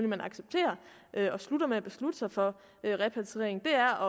man accepterer og slutter med at beslutte sig for repatriering er